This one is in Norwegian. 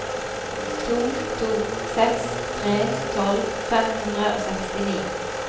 to to seks tre tolv fem hundre og sekstini